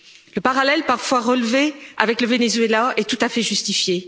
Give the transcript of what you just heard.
Le parallèle parfois relevé avec le Venezuela est tout à fait justifié.